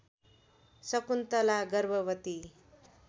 शकुन्तला गर्भवती